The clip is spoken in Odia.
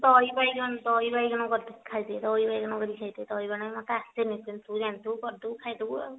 ଦହି ବାଇଗଣ ଦହି ବାଇଗଣ କରି ଖାଇଦେ ଦହି ବାଇଗଣ ମତେ ଆସେନି ଯଦି ତୁ ଜାଣିଥବୁ କରିଦେବୁ ଖାଇଦେବୁ ଆଉ